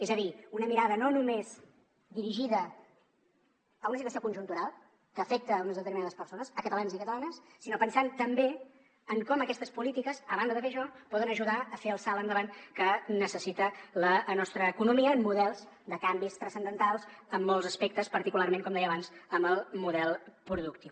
és a dir una mirada no només dirigida a una situació conjuntural que afecta unes determinades persones catalans i catalanes sinó pensant també en com aquestes polítiques a banda de fer això poden ajudar a fer el salt endavant que necessita la nostra economia amb models de canvis transcendentals en molts aspectes particularment com deia abans en el model productiu